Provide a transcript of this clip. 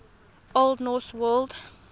old norse word